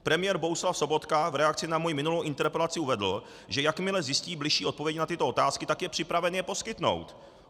Premiér Bohuslav Sobotka v reakci na moji minulou interpelaci uvedl, že jakmile zjistí bližší odpověď na tyto otázky, tak je připraven ji poskytnout.